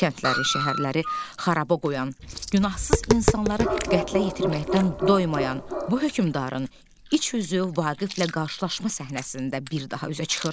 Kəndləri, şəhərləri xaraba qoyan, günahsız insanları qətlə yetirməkdən doymayan bu hökümdarın iç üzü Vaqiflə qarşılaşma səhnəsində bir daha üzə çıxır.